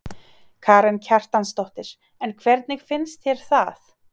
Karen Kjartansdóttir: En hvernig finnst þér það?